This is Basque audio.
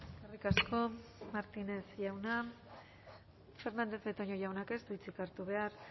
eskerrik asko martínez jauna fernandez de betoño jaunak ez du hitzik hartu behar